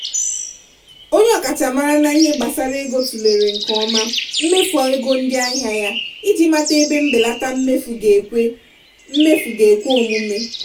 onye ọkachamara n'ihe gbasara ego tụlere nke ọma mmefu ego ndị ahịa ya iji mata ebe mbelata mmefu ga-ekwe mmefu ga-ekwe omume.